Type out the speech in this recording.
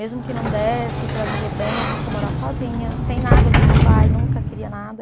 Mesmo que não desse para viver bem, a gente ia morar sozinha, sem nada do meu pai, nunca queria nada.